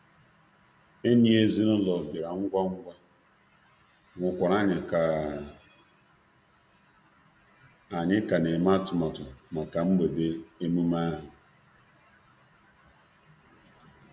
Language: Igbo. Enyi ezinụlọ bịara ngwa ngwa, hụkwara anyị ka anyị ka na-eme atụmatụ maka mgbede emume ahụ.